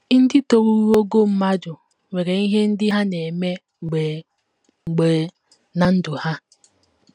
Ndị toruru ogo mmadụ nwere ihe ndị ha na - eme mgbe mgbe ná ndụ ha.